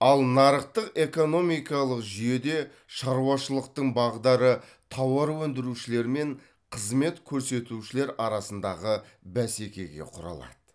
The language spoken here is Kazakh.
ал нарықтық экономикалық жүйеде шаруашылықтың бағдары тауар өндірушілер мен қызмет көрсетушілер арасындағы бәсекеге құрылады